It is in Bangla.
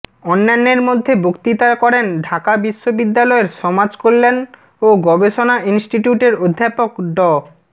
অন্যান্যের মধ্যে বক্তৃতা করেন ঢাকা বিশ্ববিদ্যালয়ের সমাজকল্যাণ ও গবেষণা ইনিষ্টিটিউটের অধ্যাপক ড